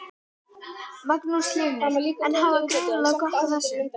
Magnús Hlynur: En hafa greinilega gott af þessu?